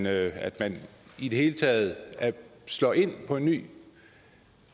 at man i det hele taget slår ind på en ny